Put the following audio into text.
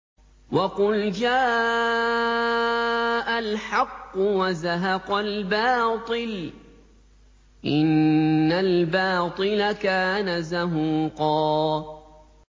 وَقُلْ جَاءَ الْحَقُّ وَزَهَقَ الْبَاطِلُ ۚ إِنَّ الْبَاطِلَ كَانَ زَهُوقًا